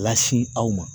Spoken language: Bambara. Lasi aw ma